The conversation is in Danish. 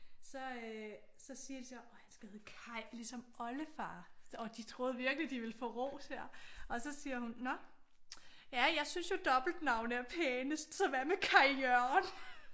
Så øh så siger de så og han skal hedde Kaj ligesom oldefar. Og de troede virkelig at de ville få ros her og så siger hun nå ja jeg synes jo dobbeltnavne er pænest så hvad med Kaj Jørgen?